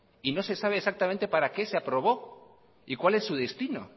y no se sabe exactamente para qué se aprobó y cuál es su destino